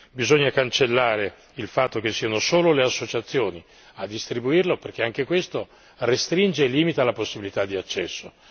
Bisogna cancellare il fatto che siano solo le associazioni a distribuirlo perché anche questo restringe i limiti alla possibilità di accesso.